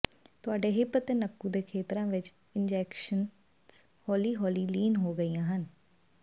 ਤੁਹਾਡੇ ਹਿੱਪ ਅਤੇ ਨੱਕੂ ਦੇ ਖੇਤਰਾਂ ਵਿੱਚ ਇੰਜੈਕਸ਼ਨਸ ਹੌਲੀ ਹੌਲੀ ਲੀਨ ਹੋ ਗਈਆਂ ਹਨ